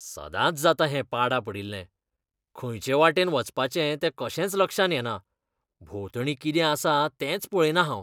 सदांच जाता हें पाडा पडिल्लें. खंयटे वाटेन वचपाचें तें कशेंच लक्षांत येना. भोंवतणी कितें आसा तेंच पळयना हांव. पर्यटक